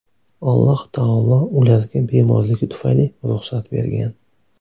Alloh taolo ularga bemorligi tufayli ruxsat bergan.